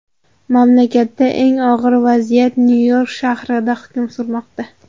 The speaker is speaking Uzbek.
Mamlakatda eng og‘ir vaziyat Nyu-York shahrida hukm surmoqda.